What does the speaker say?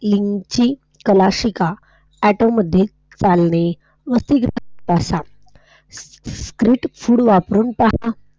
लिंपचिप शिका ऑटो मध्ये चालणे ? स्ट्रीट फूड वरून पहा.